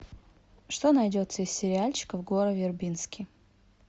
что найдется из сериальчиков гора вербински